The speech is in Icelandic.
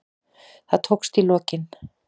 Það tókst í lokin.